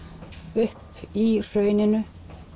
upp í hrauninu